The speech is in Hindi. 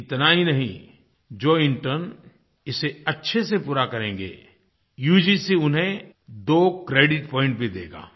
इतना ही नहीं जो इंटर्न इसे अच्छे से पूरा करेंगे यूजीसी उन्हें दो क्रेडिट पॉइंट भी देगा